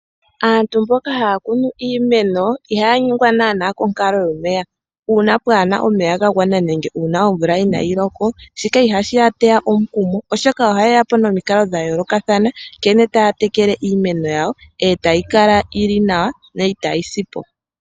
Aantu mboka haya kunu iimeno ihaya nyengwa naana konkalo yomeya. Uuna pwaana omeya gagwana nenge uuna omvula inaayi loka shika ihashi yateya omukumo, oshoka ohayeya po nomikalo dha yoolokathana nkene taya tekele iimeno yawo etayi kala yili nawa yo itayi si po.